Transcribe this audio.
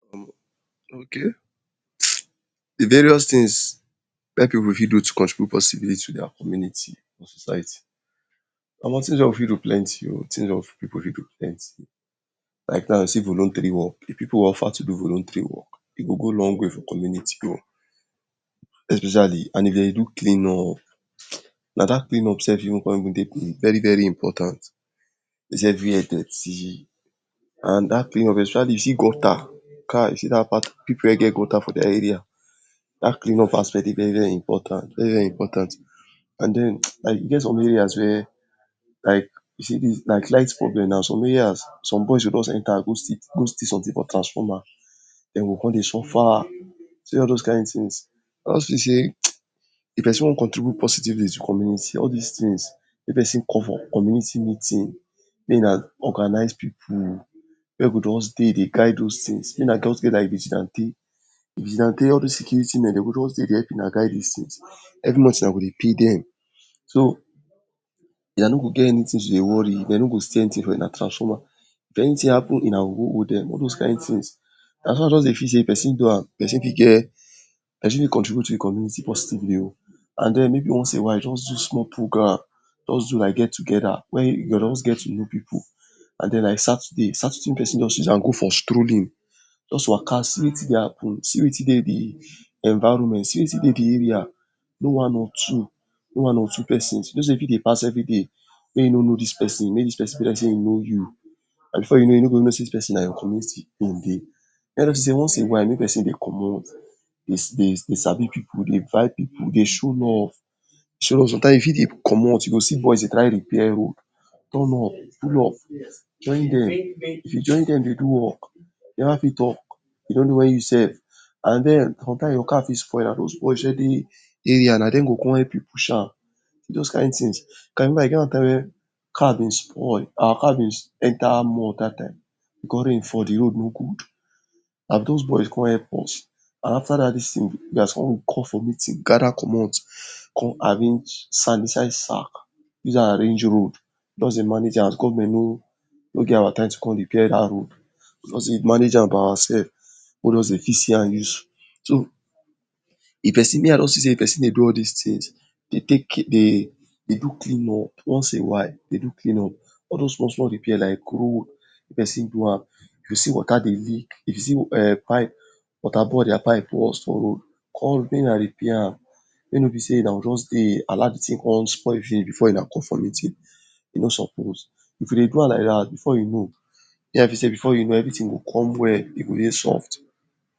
Okay! Di various tins wey pipu fit do to kontribut posibiliti for dia community. Omo tins weey pipu fit do plenti, omo tins wey pipu fit do plenti like now, you see voluntary work, pipu ofa to do volutari work, pipu fit go long way for community, especiali if dem dey do cleanup, na dat even cleanup con dey veri-veri impotant wey be sey everi where dirti and dat period, especiali you see gota, kai! Pipu wey get gota for dia area, dat clean up aspect dey veri-veri impotant very-veri impotant and e get som area wey like you see, like light problem, some areas some boys go jost enta go go steal somtin for transfoma, den go come dey sofa, you see all dis kind tins, e con see sey if pesin wan contribut positively to communitis, all dis tins wey pesin call for community meetin, mey na organize pipu wey just dey guide dos tins, mey na just get like vigilante, vigilante, all dis security men de go just dey dey help una guide dis tins every month wuna go dey pay dem. De no go get eni tin to dey wori, de no go still eni tin from wuna transfoma. But if eni tin happen, wuna go hold dem, all dos kind tins, na so I just dey see sey pesin fit contribut to im community positively o. and mey be once a while just do small prgramme, just do like get togeda, where you just get to know pipu like Saturday, Saturday make just pesin use am go for strolin, just waka see wetin dey happen, see wetin de dey di environment. see wetin dey di area make you know one or two pesin. Pesin fit dey pass every day wey you no know dis pesin, wey di pesin fit know you. And sure you no go know sey, dis pesin na your community in dey. Once in a while, make person dey commot you sabi pipu, dey buy pipu, dey show love, sometimes you fit dey comot you go see boys dey try repair road, ton up, pull up, join dem, if you join dem dey do work, neva fit talk. You no know wen you sef and den your car fit spoil, pipu wey dey area na dem go come help you push am. Just kind tins. E get one time wey car been spoil, car been enta mud dat time, because rain fall, the road no gud, and dos boys come help us and afta dat tin dia is time we call for meetin, come arrange sand inside sak, dat arrange road wey dey manage am as government no get our time to take repair road. We go just dey manage am by oursef mey we fit see am use. So, me I don see sey if pesin dey do all dis tins, dey do clean up once a while dey do clean up, all dos once wey we repair like road, pesin do am, you see wota dey lik, if you see pipe, wota pipe boast for road, call mey na repair am, mey no be just sey somtin come spoil finish before wuna call for meeting. E no sopos, if you dey do am like dat before you know, everi tin go come well, e go dey soft.